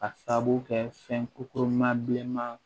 A sabu kɛ fɛn kokurunma bilenman